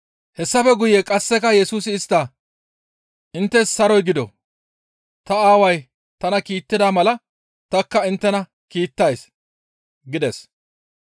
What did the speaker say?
Hessafe guye qasseka Yesusi istta, «Inttes saroy gido! Ta Aaway tana kiittida mala tanikka inttena kiittays» gides.